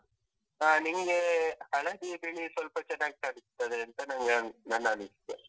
ಹಾ ನಿಂಗೇ ಹಳದಿ ಬಿಳಿ ಸ್ವಲ್ಪ ಚೆನ್ನಾಗ್ ಕಾಣಿಸ್ತದೆಂತ ನಂಗೆ ನನ್ನ ಅನಿಸಿಕೆ.